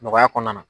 Nɔgɔya kɔnɔna na